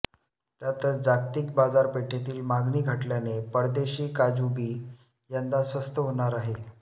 त्यातच जागतिक बाजारपेठेतील मागणी घटल्याने परदेशी काजू बी यंदा स्वस्त होणार आहे